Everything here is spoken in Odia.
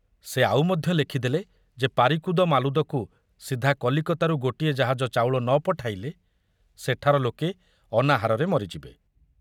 ସେ ଆଉ ମଧ୍ୟ ଲେଖିଦେଲେ ଯେ ପାରିକୁଦ ମାଲୁଦକୁ ସିଧା କଲିକତାରୁ ଗୋଟିଏ ଜାହାଜ ଚାଉଳ ନ ପଠାଇଲେ ସେଠାର ଲୋକେ ଅନାହାରରେ ମରିଯିବେ।